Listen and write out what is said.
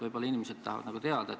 Võib-olla inimesed tahavad teada.